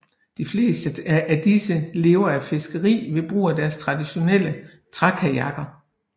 De fleste af disse lever af fiskeri ved brug af deres traditionelle trækajakker